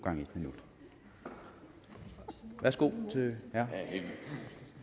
sammen når